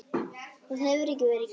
Það hefur ekki verið gert.